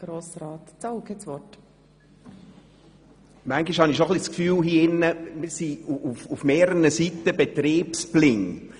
Manchmal habe ich schon ein bisschen das Gefühl, wir wären auf mehreren Seiten betriebsblind.